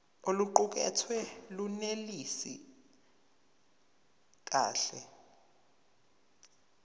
oluqukethwe lunelisi kahle